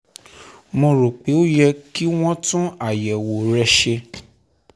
mo rò pé ó yẹ kí wọ́n tún àyẹ̀wò rẹ ṣe